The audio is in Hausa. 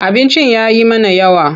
Abincin ya yi mana yawa.